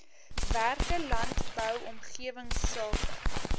werke landbou omgewingsake